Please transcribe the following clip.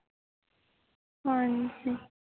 ਹਾਂ ਜੀ